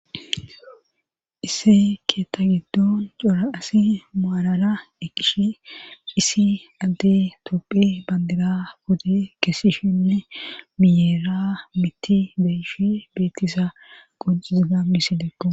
isse keetta giddon cora asi maalala eqish isi adde topphe bandira pute keesishinne miyeera mitti beyishe beettisa qocizi gamisidekko